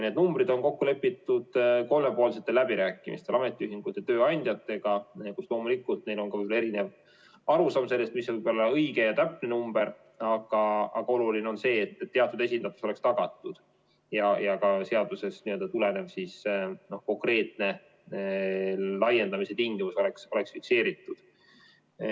Need numbrid on kokku lepitud kolmepoolsetel läbirääkimistel ametiühingute ja tööandjatega ja loomulikult võib neil olla erinev arusaam sellest, mis on õige ja täpne number, aga oluline on see, et teatud esindatus oleks tagatud ja ka seadusest tulenev konkreetne laiendamise tingimus oleks fikseeritud.